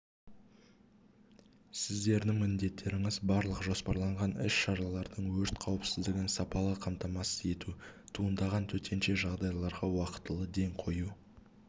сіздердің міндеттеріңіз барлық жоспарланған іс-шаралардың өрт қауіпсіздігін сапалы қамтамасыз ету туындаған төтенше жағдайларға уақтылы ден қою